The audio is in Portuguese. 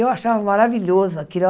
Eu achava maravilhoso aquilo.